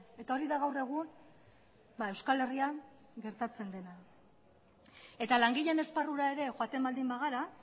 eta hori da gaur egun euskal herrian gertatzen dena eta langileen esparrura ere joaten baldin bagara